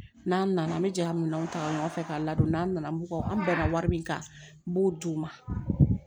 N'an nana an bɛ jɛ ka minɛnw ta u nɔfɛ ka ladon n'an nana mɔgo an bɛnna wari min kan n b'o d'u ma